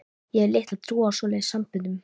Ég hef litla trú á svoleiðis samböndum.